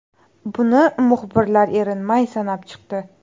Buni muxbirlar erinmay sanab chiqdi.